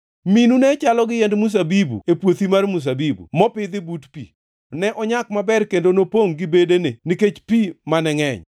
“ ‘Minu ne chalo gi yiend mzabibu e puothi mar mzabibu mopidhi but pi; ne onyak maber kendo nopongʼ gi bedene nikech pi mane ngʼeny.